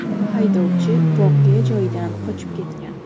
Haydovchi voqea joyidan qochib ketgan.